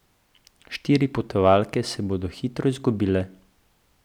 Štiri potovalke se bodo hitro izgubile.